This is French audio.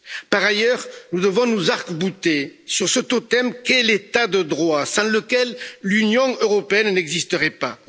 Par ailleurs, nous devons nous arc bouter sur ce totem qui est l'état de droit, sans lequel l'Union européenne n'existerait pas.